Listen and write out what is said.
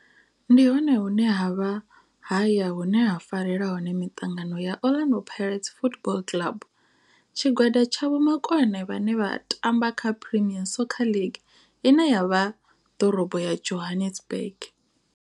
Ndi hone hune havha haya hune ha farelwa hone miṱangano ya Orlando Pirates Football Club. Tshigwada tsha vhomakone vhane vha tamba kha Premier Soccer League ine ya vha ḓorobo ya Johannesburg.